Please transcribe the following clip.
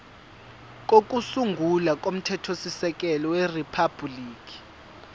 kokusungula komthethosisekelo weriphabhuliki